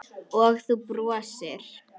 Og þú brosir.